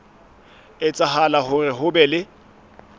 etsahala hore ho be le